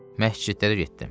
Məscidlərə getdim.